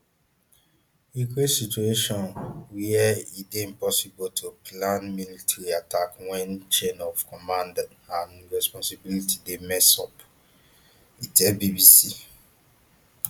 e create situation wia e dey impossible to plan military attack wen chain of command and responsibility dey messed up e tell bbc